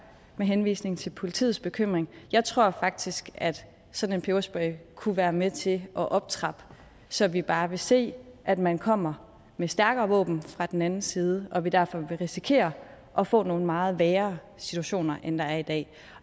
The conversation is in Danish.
med henvisning til politiets bekymring jeg tror faktisk at sådan en peberspray kunne være med til at optrappe så vi bare vil se at man kommer med stærkere våben fra den anden side og at vi derfor vil risikere at få nogle meget værre situationer end der er i dag